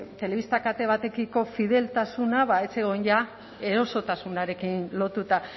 telebista kate batekiko fideltasuna ez zegoen ja erosotasunarekin lotuta